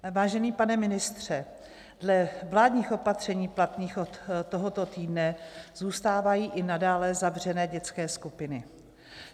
Vážený pane ministře, dle vládních opatření platných od tohoto týdne zůstávají i nadále zavřené dětské skupiny.